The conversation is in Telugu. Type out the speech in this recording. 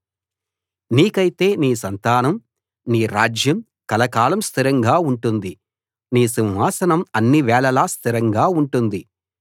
నీకైతే నీ సంతానం నీ రాజ్యం కలకాలం స్థిరంగా ఉంటుంది నీ సింహాసనం అన్నివేళలా స్థిరంగా ఉంటుంది